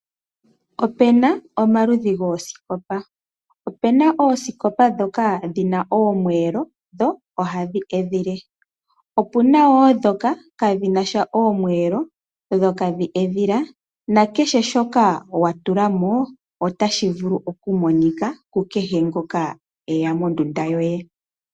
Opu na omaludhi goosikopa, opu na oosikopa ndhoka dhi na omwelo dho oha dhi edhile opu na wo ndhoka kaadhi nasha omwelo dho iha dhi edhile na kehe shoka wa tulamo ota shi vulu okumonika ku kehe ngoka eya mondunda yoye.